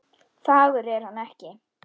Fagur er hann ekki.